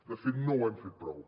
de fet no ho hem fet prou